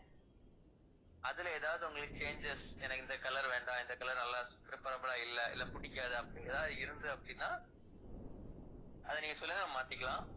அதுல ஏதாவது உங்களுக்கு changes எனக்கு இந்த colour வேண்டாம் இந்த colour நல்லா preferable ஆ இல்லை இல்லை பிடிக்காது அப்படி ஏதாவது இருந்தது அப்படின்னா அதை நீங்கச் சொல்லுங்க நம்ம மாத்திக்கலாம்